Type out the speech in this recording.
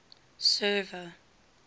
server